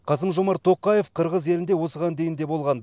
қасым жомарт тоқаев қырғыз елінде осыған дейін де болған